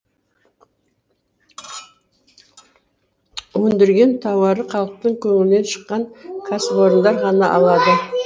өндірген тауары халықтың көңілінен шыққан кәсіпорындар ғана алады